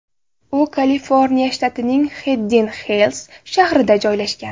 U Kaliforniya shtatining Xidden-Xils shahrida joylashgan.